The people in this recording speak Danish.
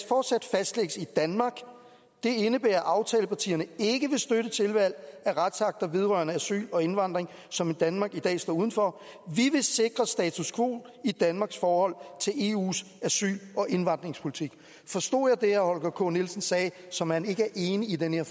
fortsat fastlægges i danmark det indebærer at aftalepartierne ikke vil støtte tilvalg af retsakter vedrørende asyl og indvandring som danmark i dag står uden for vi vil sikre status quo i danmarks forhold til eus asyl og indvandringspolitik forstod jeg det herre holger k nielsen sagde som at han ikke er enig i den her